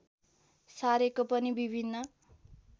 सारेको पनि विभिन्न